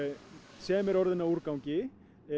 sem er orðin að úrgangi